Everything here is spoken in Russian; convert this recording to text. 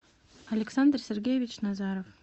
александр сергеевич назаров